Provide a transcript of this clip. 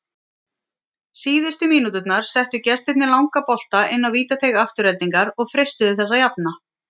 Síðustu mínúturnar settu gestirnir langa bolta inn á vítateig Aftureldingar og freistuðu þess að jafna.